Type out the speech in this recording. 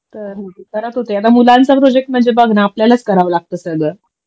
तर मुलांचा प्रोजेक्ट म्हणजे बघ ना आपल्यालाच करावं लागतं सगळं